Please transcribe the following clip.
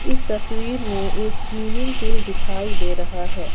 इस तस्वीर में एक स्विमिंग पूल दिखाई दे रहा है।